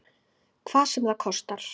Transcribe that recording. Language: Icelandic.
Hvað sem það kostar.